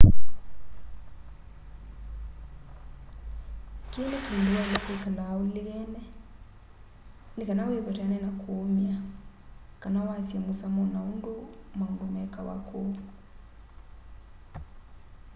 kii ni kindu waile kwikala ulilikene ni kana wivetane na kuumia kana wasye musamo na undu maundu mekawa ku